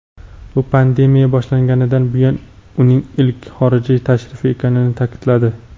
bu pandemiya boshlanganidan buyon uning ilk xorijiy tashrifi ekanini ta’kidladi.